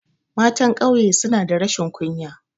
Matan ƙauye suna da rashin kunya